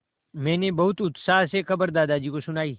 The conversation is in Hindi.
मैंने बहुत उत्साह से खबर दादाजी को सुनाई